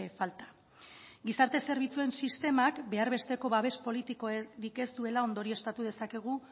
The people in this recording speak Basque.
falta gizarte zerbitzuen sistemak behar besteko babes politikorik ez duela ondorioztatu dezakegu